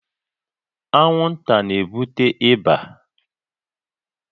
Anwụnta na-ebute ịba